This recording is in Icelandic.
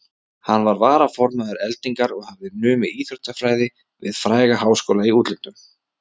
Hann var varaformaður Eldingar og hafði numið íþróttafræði við fræga háskóla í útlöndum.